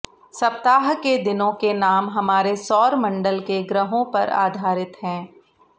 सप्ताह के दिनों के नाम हमारे सौर मंडल के ग्रहों पर आधारित हैं